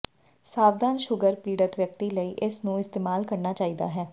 ਸਾਵਧਾਨ ਸ਼ੂਗਰ ਪੀੜਤ ਵਿਅਕਤੀ ਲਈ ਇਸ ਨੂੰ ਇਸਤੇਮਾਲ ਕਰਨਾ ਚਾਹੀਦਾ ਹੈ